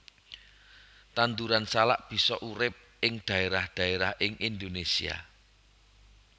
Tanduran salak bisa urip ing dhaérah dhaérah ing Indonésia